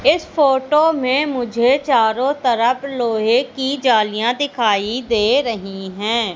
इस फोटो में मुझे चारों तरफ लोहे की जालियां दिखाई दे रही हैं।